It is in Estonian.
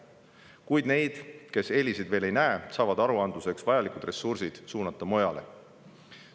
Kuid need, kes eeliseid veel ei näe, saavad aruandluseks vajalikud ressursid suunata mujale.